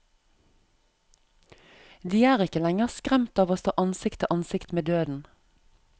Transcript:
De er ikke lenger skremt av å stå ansikt til ansikt med døden.